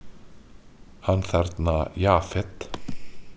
Hann þarna Jafet.